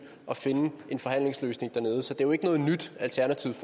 at finde en forhandlingsløsning dernede så det er jo ikke noget nyt alternativet